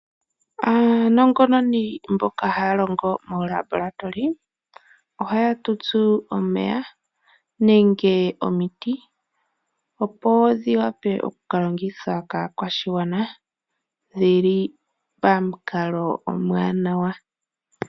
Aanongononi mboka haya longo moo Labolatoli, ohaya tutsu omeya, nenge omiti, opo dhi wape okuka longithwa kaakwashigwana dhili pamukalo omwaanawa..